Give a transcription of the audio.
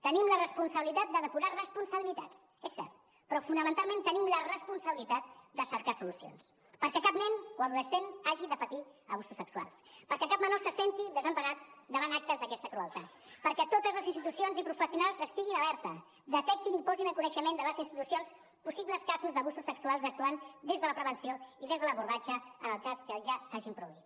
tenim la responsabilitat de depurar responsabilitats és cert però fonamentalment tenim la responsabilitat de cercar solucions perquè cap nen o adolescent hagi de patir abusos sexuals perquè cap menor se senti desemparat davant actes d’aquesta crueltat perquè totes les institucions i professionals estiguin alerta detectin i posin en coneixement de les institucions possibles casos d’abusos sexuals actuant des de la prevenció i des de l’abordatge en el cas que ja s’hagin produït